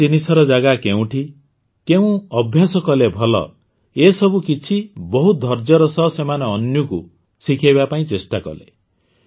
କେଉଁ ଜିନିଷର ଜାଗା କେଉଁଠି କେଉଁ ଅଭ୍ୟାସ ଭଲ ଏ ସବୁକିଛି ବହୁତ ଧୈର୍ଯ୍ୟର ସହ ସେମାନେ ଅନ୍ୱୀକୁ ଶିଖାଇବା ପାଇଁ ଚେଷ୍ଟା କଲେ